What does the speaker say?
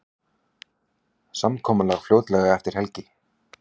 Samkomulag fljótlega eftir helgi